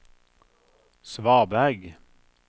svaberg